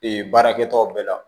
Ee baarakɛtaw bɛɛ la